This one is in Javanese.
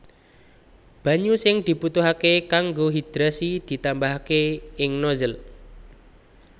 Banyu sing dibutuhaké kanggo hidrasi ditambahaké ing nozzle